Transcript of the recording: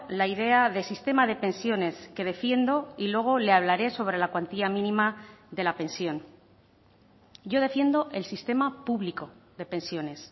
la idea de sistema de pensiones que defiendo y luego le hablaré sobre la cuantía mínima de la pensión yo defiendo el sistema público de pensiones